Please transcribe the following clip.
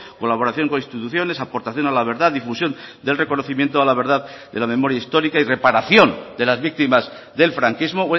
colaboración con instituciones aportación a la verdad difusión del reconocimiento a la verdad de la memoria histórica y reparación de las víctimas del franquismo